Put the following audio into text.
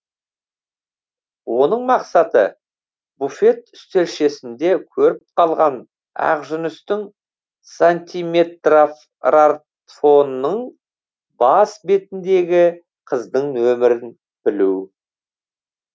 оның мақсаты буфет үстелшесінде көріп қалған ақжүністің сантиметратрфонының бас бетіндегі қыздың нөмірін білу